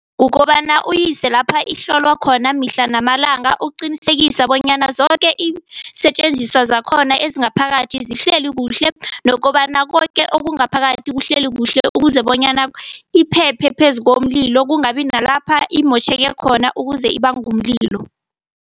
Kukobana uyise lapha ihlolwa khona mihla namalanga, ukuqinisekisa bonyana zoke iinsetjenziswa zakhona ezingaphakathi zihleli kuhle nokobana koke okungaphakathi kuhleli kuhle. Ukuze bonyana iphephe phezukomlilo, kungabi nalapha imotjheke khona ukuze ibange umlilo.